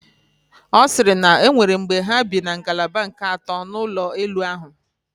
Ọ siri na onwere mgbe ha bi na ngalaba nke ato n'ụlọ elu ahụ